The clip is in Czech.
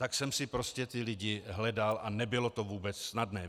Tak jsem si prostě ty lidi hledal a nebylo to vůbec snadné.